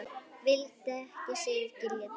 Vildi ekki skilja það.